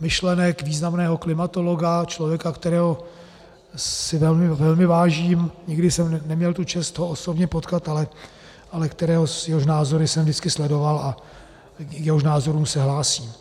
myšlenek významného klimatologa, člověka, kterého si velmi vážím, nikdy jsem neměl tu čest ho osobně potkat, ale jehož názory jsem vždycky sledoval a k jehož názorům se hlásím.